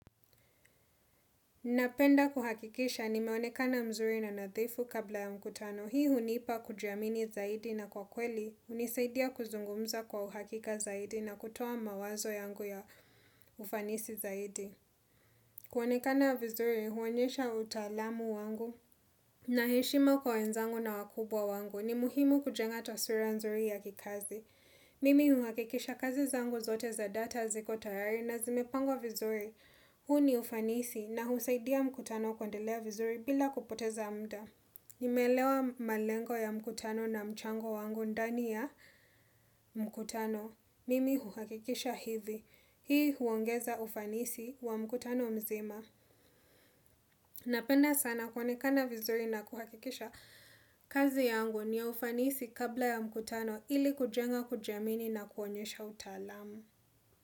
Napenda kuhakikisha nimeonekana mzuri na nadhifu kabla ya mkutano. Hii hunipa kujiamini zaidi na kwa kweli, hunisaidia kuzungumza kwa uhakika zaidi na kutoa mawazo yangu ya ufanisi zaidi. Kuonekana vizuri, huonyesha utaalamu wangu na heshima kwa wenzangu na wakubwa wangu. Ni muhimu kujenga taswira nzuri ya kikazi. Mimi huhakikisha kazi zangu zote za data ziko tayari na zimepangwa vizuri. Huu ni ufanisi na husaidia mkutano kuendelea vizuri bila kupoteza muda. Nimelewa malengo ya mkutano na mchango wangu ndani ya mkutano. Mimi huhakikisha hivi. Hii huongeza ufanisi wa mkutano mzima. Napenda sana kuonekana vizuri na kuhakikisha kazi yangu ni ya ufanisi kabla ya mkutano ili kujenga kujiamini na kuonyesha utaalamu.